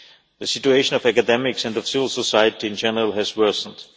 The situation of academics and of civil society in general has worsened.